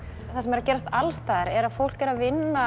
það sem er að gerast alls staðar er að fólk er að vinna